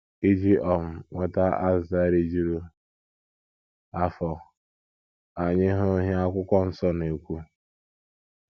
Iji um nweta azịza rijuru afọ, ka anyị hụ ihe akwụkwọ nsọ na - ekwu.